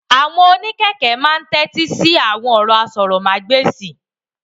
Àwọn onikẹ̀kẹ́ naa máa ni t'ẹti sí awọn ọrọ àsòrọmagbesi.